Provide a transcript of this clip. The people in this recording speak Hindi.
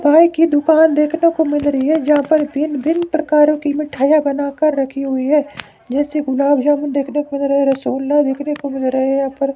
मिटाई की दुकान देखने को मिल रही है जहां पर भिन्न भिन्न प्रकारों की मिठाइयां बनाकर रखी हुई है जैसे गुलाब जामुन देखने को मिल रहा है रसगुल्ला देखने को मिल रहा है यहाँ पर --